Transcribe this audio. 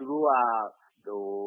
သူတို့က